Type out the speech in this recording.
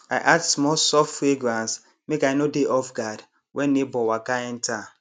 i add small soft fragrance make i no dey offguard when neighbour waka enter